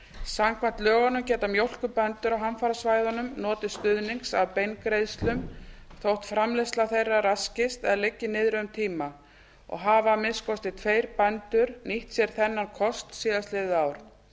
samkvæmt lögunum geta mjólkurbændur á hamfarasvæðunum notið stuðnings af beingreiðslum þótt framleiðsla þeirra raskist eða liggi niðri um tíma og hafa að minnsta kosti tveir bændur nýtt sér þennan kost síðastliðið ár